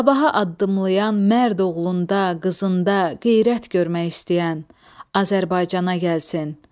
Sabaha addımlayan mərd oğlunda, qızında qeyrət görmək istəyən Azərbaycana gəlsin.